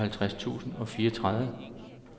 syvoghalvtreds tusind og fireogtredive